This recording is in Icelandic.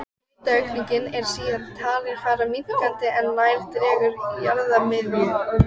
Hitaaukningin er síðan talin fara minnkandi er nær dregur jarðarmiðju.